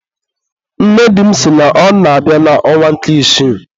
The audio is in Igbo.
nne di m sị na ọ na-abịa n'ọnwa nke isii.